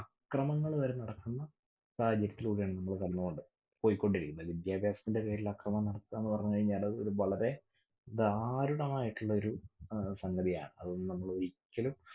ക്രമങ്ങള് വരെ നടക്കുന്ന സാഹചര്യത്തിലൂടെ ആണ് നമ്മൾ കടന്നുപോണത്. പോയിക്കൊണ്ടിരിക്കുന്നത്. വിദ്യാഭ്യാസത്തിന്റെ പേരില് അക്രമം നടത്ത എന്ന് പറഞ്ഞു കഴിഞ്ഞാൽ അത് ഒരു വളരെ ദാരുണമായിട്ടുലൊരു അഹ് സംഗതിയാണ്. അതൊന്നും നമ്മള് ഒരിക്കലും